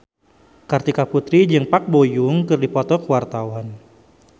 Kartika Putri jeung Park Bo Yung keur dipoto ku wartawan